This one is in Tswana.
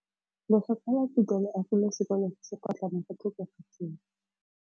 Lefapha la Thuto le agile sekôlô se se pôtlana fa thoko ga tsela.